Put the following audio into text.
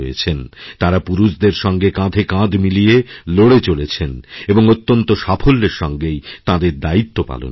তাঁরা পুরুষেদেরসঙ্গে কাঁধে কাঁধ মিলিয়ে লড়ে চলেছেন এবং অত্যন্ত সাফল্যের সঙ্গেই তাঁদের দায়িত্বপালন করছেন